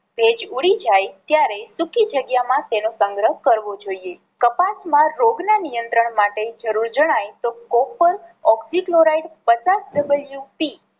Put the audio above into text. ભેજ ઊડી જાય ત્યારે સૂકી જગ્યા માં તેનો સંગ્રહ કરવો જોઈએ. કપાસ માં રોગ ના નિયત્રંણ માટે જરૂર જણાય તો Copper oxychloride પચાસ double UC